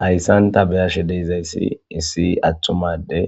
Hayissan ta beyashshe dizayissi issi atuma adey